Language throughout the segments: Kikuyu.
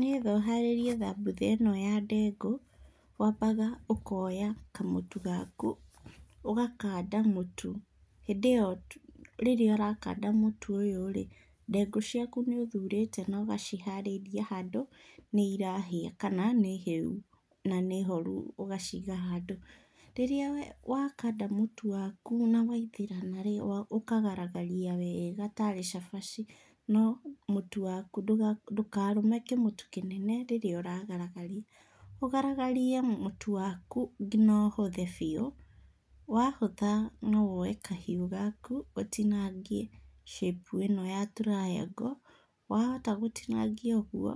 Niĩ no harĩrie thambutha ĩno ya ndengũ, wambaga ũkoya kamũtu gaku, ũgakanda mũtu, hĩndĩ ĩo rĩrĩa ũrakanda mũtu ũyũ-rĩ, ndengũ ciaku nĩ ũthurĩte na ũgaciharĩria handũ nĩirahĩa kana nĩ hĩu na nĩhoru ũgaciga handũ. Rĩrĩa wakanda mũtu waku na waingĩrana -rĩ , ũkagaragaria wega tarĩ cabaci no mũtu waku, ndũkarũme kĩmũtu kĩnene rĩrĩa ũragaragaria. Ũgaragarie mũtu waku ngina ũhũthe biũ, wahũtha no woe kahiũ gaku ũtinangie cĩpu ĩno ya triango. Wahota gũtinangia ũguo,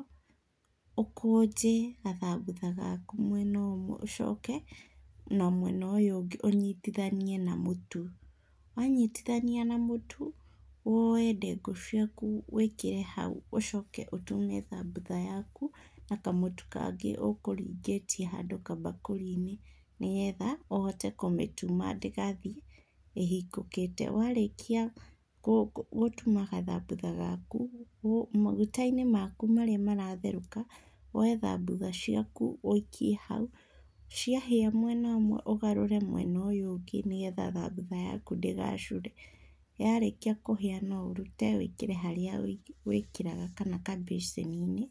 ũkũnje gathambutha gaku mwena ũmwe ũcoke na mwena ũyũ ũngĩ ũnyitithanie na mũtu. Wanyitithania na mũtu, woe ndengũ ciaku wĩkĩre hau ũcoke ũtume thambutha yaku na kamũtu kangĩ ũkũringĩtie handũ kambakũri-nĩ nĩgetha ũhote kũmĩtuma ndĩgathiĩ ĩhingũkĩte. Warĩkia gũtuma gathambutha gaku, maguta-inĩ maku marĩa maratherũka, woe thambutha ciaku ũikie hau, ciahĩa mwena ũmwe ũgarũre mwena ũyũ ũngĩ nĩgetha thambutha yaku ndĩgacure. Yarĩkia kũhĩa no ũrute wĩkĩre harĩa wĩkĩraga kana kambĩcĩni-inĩ.